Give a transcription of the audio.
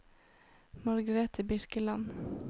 Margrete Birkeland